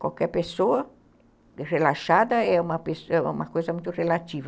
Qualquer pessoa relaxada é uma coisa muito relativa.